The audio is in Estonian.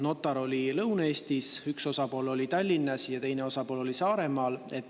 Notar oli Lõuna-Eestis, üks osapool oli Tallinnas ja teine osapool oli Saaremaal.